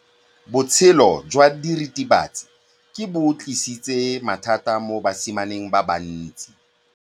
Botshelo jwa diritibatsi ke bo tlisitse mathata mo basimaneng ba bantsi.